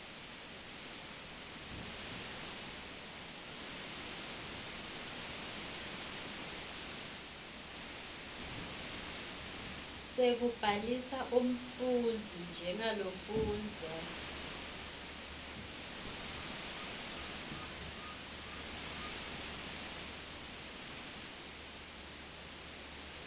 sekubhalisa umfundzi njengalofundza